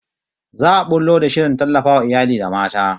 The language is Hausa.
Za'a bullo da shirin tallafawa iyali da mata